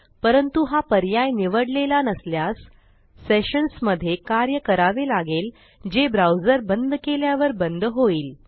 परंतु हा पर्याय निवडलेला नसल्यास सेशन्स मध्ये कार्य करावे लागेल जे ब्राऊजर बंद केल्यावर बंद होईल